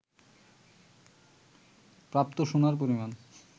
প্রাপ্ত সোনার পরিমাণ